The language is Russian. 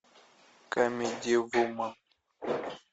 камеди вумен